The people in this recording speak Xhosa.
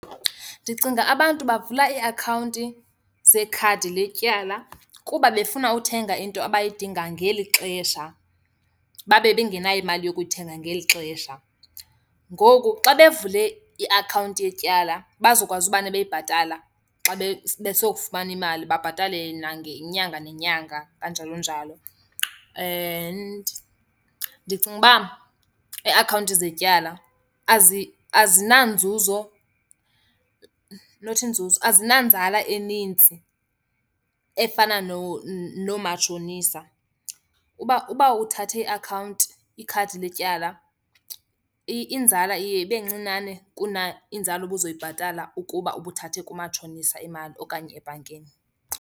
Ndicinga abantu bavula iiakhawunti zekhadi letyala kuba befuna uthenga into abayidinga ngeli xesha, babe bengenayo imali yokuyithenga ngeli xesha. Ngoku xa bavule iakhawunti yetyala bazokwazi umane beyibhatala xa besokufumana imali, babhatale nangenyanga nenyanga kanjalo njalo. And ndicinga uba iiakhawunti zetyala azinanzuzo. Not inzuzo. Azinanzala enintsi efana noomatshonisa. Uba uba uthathe iakhawunti, ikhadi letyala, inzala iye ibe ncinane inzala ubuzoyibhatala ukuba ubuthathe kumatshonisa imali okanye ebhankini.